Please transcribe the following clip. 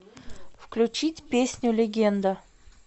включить песню легенда